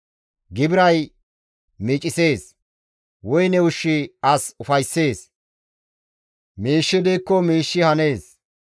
Gibiray miicisees; woyne ushshi as ufayssees; miishshi diikko miishshi hanees.